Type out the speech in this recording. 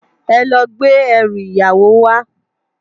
Èlò gbé èrú iyáwó wá